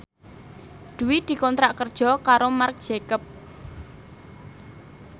Dwi dikontrak kerja karo Marc Jacob